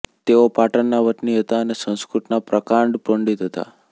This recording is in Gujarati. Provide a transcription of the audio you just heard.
તેઓ પાટણના વતની હતા અને સંસ્કૃતના પ્રકાંડ પંડીત હતા